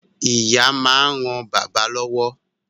Ìyá máa ń ran bàbá lọ́wọ́